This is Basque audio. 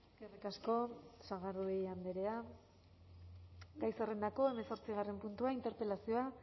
eskerrik asko sagardui andrea gai zerrendako hemezortzigarren puntua interpelazioa